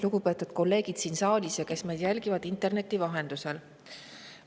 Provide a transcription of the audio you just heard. Lugupeetud kolleegid siin saalis ja need, kes jälgivad meid interneti vahendusel!